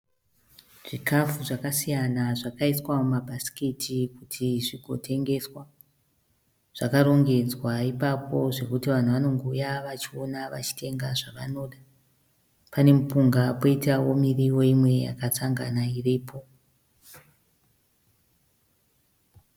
Zvikafu zvakasiyana zvakaiswa mumabhasikiti kuti zvigoteswa. Zvakarongedzwa ipapo zvokuti vanhu vanongouya vachiona vachitenga zvanoda. Pane mupunga poitawo miriwo imwe yakasangana iripo.